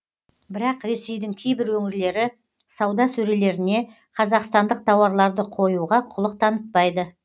бірақ ресейдің кейбір өңірлері сауда сөрелеріне қазақстандық тауарларды қоюға құлық танытпайды